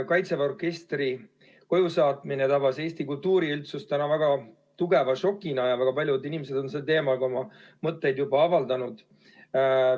Kaitseväe orkestri koju saatmine tabas Eesti kultuuriüldsust täna tõesti väga tugeva šokina ja väga paljud inimesed on sellel teemal juba oma mõtteid avaldanud.